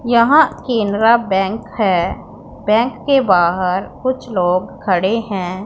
यहां केनरा बैंक है बैंक के बाहर कुछ लोग खड़े हैं।